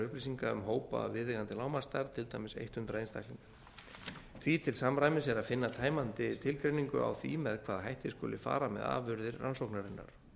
um hópa að viðeigandi lágmarksstærð til dæmis hundrað einstaklinga því til samræmis er að finna tæmandi tilgreiningu á því með hvaða hætti skuli fara með afurðir rannsóknarinnar